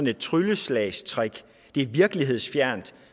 et trylleslagstrick at det er virkelighedsfjernt